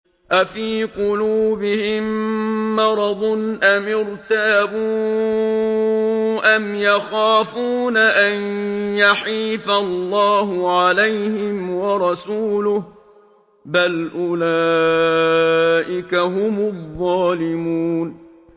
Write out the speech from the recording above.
أَفِي قُلُوبِهِم مَّرَضٌ أَمِ ارْتَابُوا أَمْ يَخَافُونَ أَن يَحِيفَ اللَّهُ عَلَيْهِمْ وَرَسُولُهُ ۚ بَلْ أُولَٰئِكَ هُمُ الظَّالِمُونَ